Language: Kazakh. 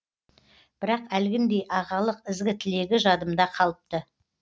бірақ әлгіндей ағалық ізгі тілегі жадымда қалыпты